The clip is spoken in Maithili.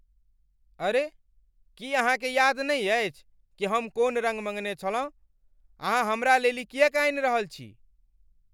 अरे, की अहाँकेँ याद नहि अछि कि हम कोन रङ्ग मङ्गने छलहुँ? अहाँ हमरा लेल ई किएक आनि रहल छी?